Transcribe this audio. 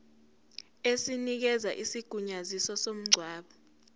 esinikeza isigunyaziso somngcwabo